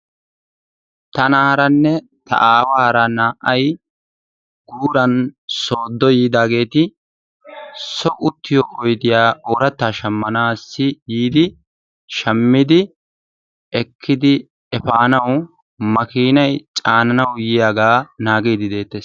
tanaaranne ta aawara naa'ay guuran soodo yiidaageeti son uttiyo oydiya oorataa shamaanaassi yiidi shammidi ekkidi efaanawu makkiinay caananawu yiyaagaa naaagiidi deettees.